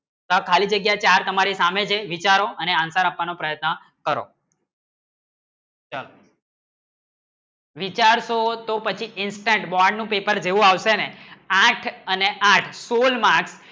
સારે ખાલી જગ્ય તમ્મરે સામને છે વિચારો અને answer આપવાનો પ્રયત્ન કરો ચલો વિચાર તો પછી instant bond paper દેવું આવશે ના આઠ અને આઠ સોલ marks